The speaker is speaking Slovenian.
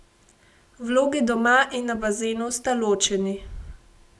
Vlogi doma in na bazenu sta ločeni.